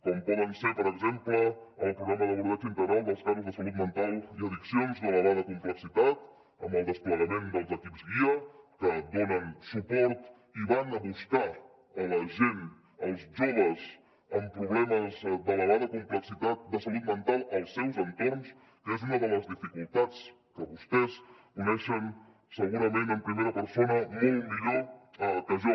com pot ser per exemple el programa d’abordatge integral dels casos de salut mental i addiccions d’elevada complexitat amb el desplegament dels equips guia que donen suport i van a buscar la gent els joves amb problemes d’elevada complexitat de salut mental als seus entorns que és una de les dificultats que vostès coneixen segurament en primera persona molt millor que jo